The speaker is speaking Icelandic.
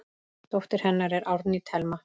Dóttir hennar er Árný Thelma.